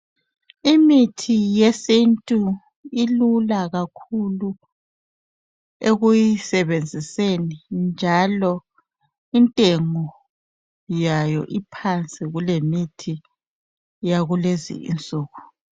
Imithi yesintu ilula kakhulu ekuyisebenziseni njalo intengo yayo iphansi kulemithi yakulezinsuku.